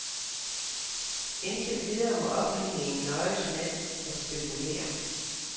Indtil videre må offentligheden nøjes med at spekulere.